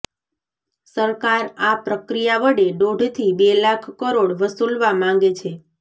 સરકાર આ પ્રક્રિયા વડે દોઢથી બે લાખ કરોડ વસૂલવા માગે છે